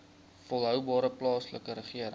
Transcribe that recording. volhoubare plaaslike regering